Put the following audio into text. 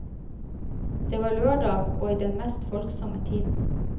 Det var lørdag og i den mest folksomme tiden.